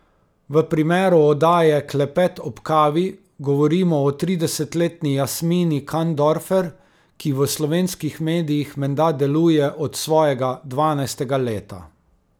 V primeru oddaje Klepet ob kavi govorimo o tridesetletni Jasmini Kandorfer, ki v slovenskih medijih menda deluje od svojega dvanajstega leta.